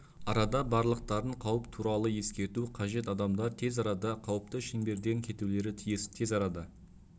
арада барлықтарын қауіп туыралы ескерту қажет адамдар тез арада қауіпті шеңберден кетулері тиіс тез арада